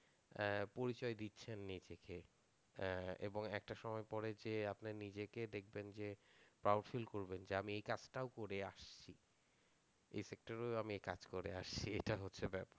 পরিচয় দিচ্ছেন নিজেকে এবং একটা সময় পরে যে আপনি নিজেকে দেখবেন যে ফিল করবেন যে আমি এই কাজ তাও করে আসছি, এই সেকটর এও আমি এই কাজ করে আসছি এটা হচ্ছে ব্যাপার।